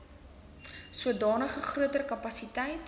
sodanige groter kapasiteit